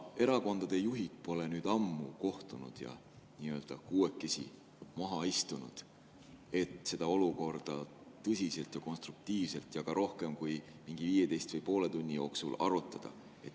Erakondade juhid pole ammu kohtunud ja kuuekesi maha istunud, et seda olukorda tõsiselt ja konstruktiivselt ja ka rohkem kui mingi 15 minuti või poole tunni jooksul arutada.